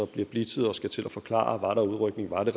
bliver blitzet og skal til at forklare var udrykning om det